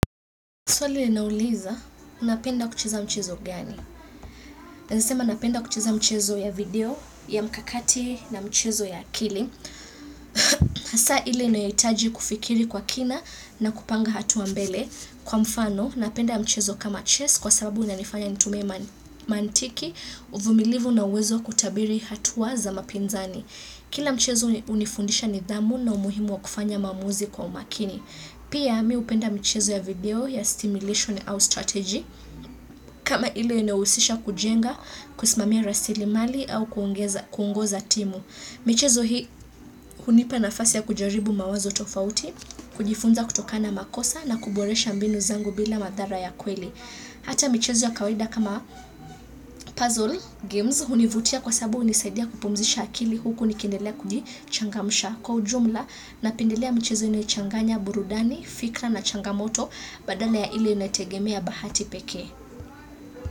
Swali linauliza, unapenda kucheza mchezo gani? Nasema, napenda kucheza mchezo ya video ya mkakati na mchezo ya akili. Hasa, ile inayohitaji kufikiri kwa kina na kupanga hatua mbele. Kwa mfano, unapenda mchezo kama chess kwa sababu unanifanya nitumie mantiki, uvumilivu na uwezo kutabiri hatua za mapinzani. Kila mchezo hunifundisha nidhamu na umuhimu wa kufanya maamuzi kwa umakini. Pia mi hupenda michezo ya video ya stimulation au strategy kama ile inahusisha kujenga, kusimamia rasilimali au kuongoza timu. Michezo hii hunipa nafasi ya kujaribu mawazo tofauti, kujifunza kutokana na makosa na kuboresha mbinu zangu bila madhara ya kweli. Hata michezo ya kawaida kama puzzle, games, hunivutia kwa sababu hunisaidia kupumzisha akili huku nikiendelea kujichangamsha. Kwa ujumla napendelea mchezo inayochanganya burudani, fikra na changamoto badala ya ile inayotegemea bahati pekee.